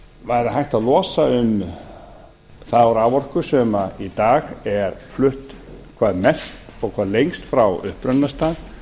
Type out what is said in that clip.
væri hægt að losa um þá raforku sem í dag er flutt hvað mest og hvað lengst frá upprunastað